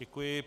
Děkuji.